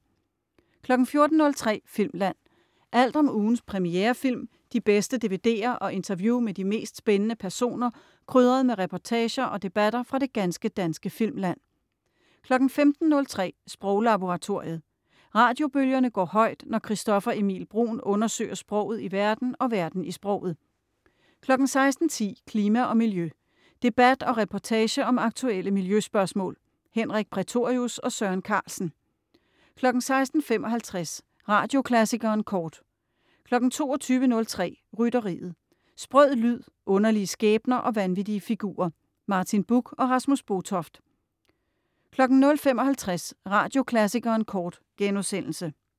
14.03 Filmland. Alt om ugens premierefilm, de bedste dvd'er og interview med de mest spændende personer, krydret med reportager og debatter fra det ganske danske filmland 15.03 Sproglaboratoriet. Radiobølgerne går højt, når Christoffer Emil Bruun undersøger sproget i verden og verden i sproget 16.10 Klima og miljø. Debat og reportage om aktuelle miljøspørgsmål. Henrik Prætorius og Søren Carlsen 16.55 Radioklassikeren Kort 22.03 Rytteriet. Sprød lyd, underlige skæbner og vanvittige figurer. Martin Buch og Rasmus Botoft 00.55 Radioklassikeren Kort*